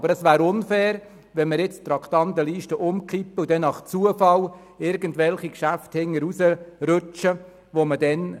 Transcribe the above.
Aber es wäre unfair, wenn wir jetzt die Traktandenliste umstellen und stattdessen nach dem Zufallsprinzip irgendwelche Geschäfte weglassen würden.